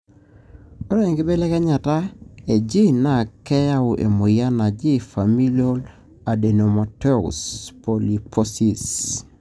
Ore enkibelekenyata egene na keyau emoyian naaji familial adenomatous polyposis(FAP)